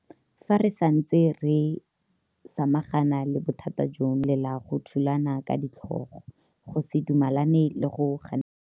Fa re santse re samagana le bothata jono, re tla tswelela go thulana ka ditlhogo, go se dumelane le go ganetsana.